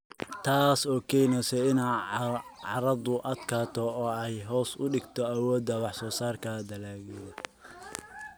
Taas oo keenaysa in carradu adkaato oo ay hoos u dhigto awoodda wax-soo-saarka dalagyada.